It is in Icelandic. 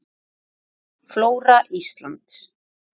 Mynd: Flóra Íslands